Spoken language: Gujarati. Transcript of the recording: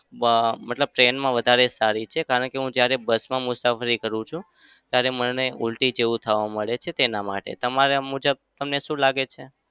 આહ મતલબ train માં વધારે સારી છે. કારણ કે હું જ્યારે bus માં મુસાફરી કરું છું ત્યારે મને ઉલટી જેવું થવા માંડે છે તેના માટે. તમારા મુજબ તમને શું લાગે છે?